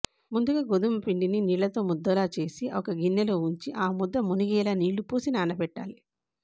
ముందుగా గోధుమపిండిని నీళ్ళతో ముద్దలా చేసి ఒక గిన్నెలో ఉంచి ఆ ముద్ద మునిగేలా నీళ్ళు పోసి నానబెట్టాలి